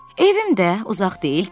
Evim də uzaq deyil ki.